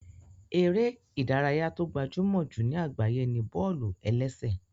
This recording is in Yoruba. Eré ìdárayá tó gbajúmọ̀ jù ní àgbáyé ni bọ́ọ̀lù-ẹlẹ́sẹ̀